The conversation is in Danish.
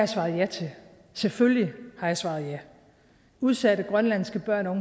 svaret ja til selvfølgelig har jeg svaret ja udsatte grønlandske børn og